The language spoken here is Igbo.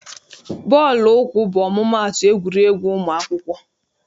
Bọọlụ ụkwụ bụ ọmụmaatụ egwuregwu ụmụ akwụkwọ.